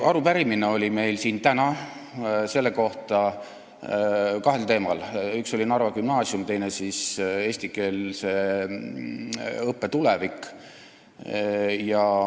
Arupärimised on meil täna kahel teemal: Narva gümnaasium ja eestikeelse õppe tulevik.